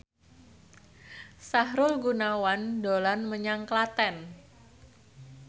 Sahrul Gunawan dolan menyang Klaten